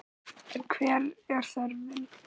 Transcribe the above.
En hver er þörfin?